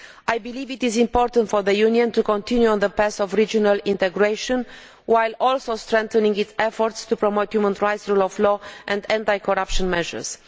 I believe it is important for the Union to continue on the path of regional integration, whhile also strengthening its efforts to promote human rights, rule of law and anti corruption measures.